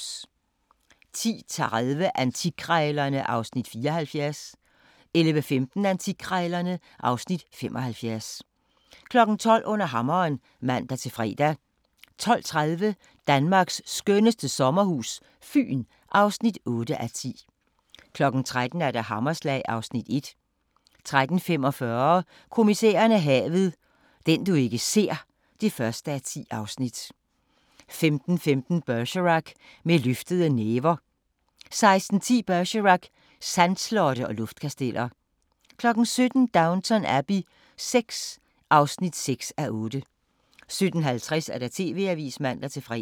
10:30: Antikkrejlerne (Afs. 74) 11:15: Antikkrejlerne (Afs. 75) 12:00: Under hammeren (man-fre) 12:30: Danmarks skønneste sommerhus - Fyn (8:10) 13:00: Hammerslag (Afs. 1) 13:45: Kommissæren og havet: Den du ikke ser (1:10) 15:15: Bergerac: Med løftede næver 16:10: Bergerac: Sandslotte og luftkasteller 17:00: Downton Abbey VI (6:8) 17:50: TV-avisen (man-fre)